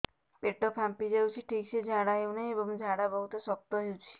ପେଟ ଫାମ୍ପି ଯାଉଛି ଠିକ ସେ ଝାଡା ହେଉନାହିଁ ଏବଂ ଝାଡା ବହୁତ ଶକ୍ତ ହେଉଛି